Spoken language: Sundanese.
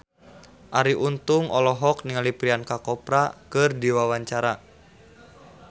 Arie Untung olohok ningali Priyanka Chopra keur diwawancara